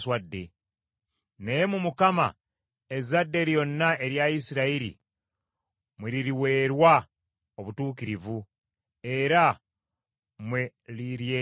Naye mu Mukama ezzadde lyonna erya Isirayiri mwe liriweerwa obutuukirivu era mwe liryenyumiririza.